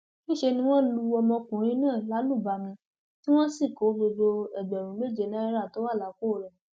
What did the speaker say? níṣẹ ni wọn lu ọmọkùnrin náà lálùbami tí wọn sì kó gbogbo ẹgbẹrún méje náírà tó wà lápò rẹ